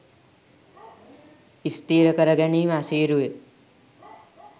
ස්ථීර කර ගැනීම අසීරුය.